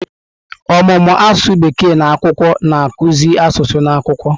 Ọmụmụ asụsụ Bekee na akwụkwọ na-akụzi asụsụ na akwụkwọ.